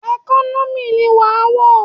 Ẹkọ́nọ́mì ni wàá wọ̀!